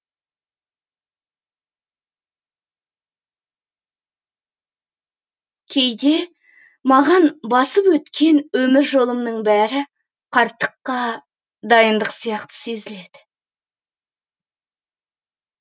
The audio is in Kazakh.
кейде маған басып өткен өмір жолымның бәрі қарттыққа дайындық сияқты сезіледі